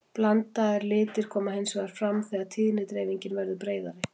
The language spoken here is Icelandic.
blandaðir litir koma hins vegar fram þegar tíðnidreifingin verður breiðari